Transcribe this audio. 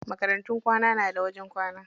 Makarantun kwana na da wajen kwana.